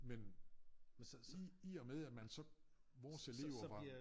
Men i i og med at man så vores elever var